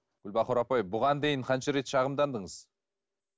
гүлбахор апай бұған дейін қанша рет шағымдандыңыз